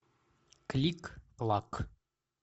клик клак